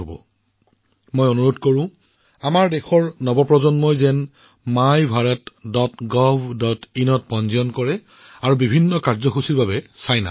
মই যুৱকযুৱতীসকলক আহ্বান জনাইছো বাৰে বাৰে আহ্বান জনাইছো যে মোৰ দেশৰ আপোনালোক সকলো যুৱকযুৱতী মোৰ দেশৰ সকলো পুত্ৰকন্যাই মাইভাৰাতGovin ত পঞ্জীয়ন কৰি বিভিন্ন কাৰ্যসূচীত নামভৰ্তি কৰক